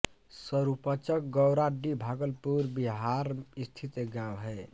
सरूपचक गौराडीह भागलपुर बिहार स्थित एक गाँव है